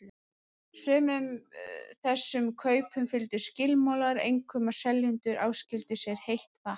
Sumum þessum kaupum fylgdu skilmálar, einkum að seljendur áskildu sér heitt vatn.